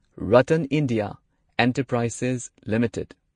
RattanIndia enterprises limited